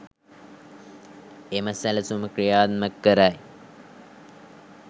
එම සැලසුම ක්‍රියාත්මක කරයි.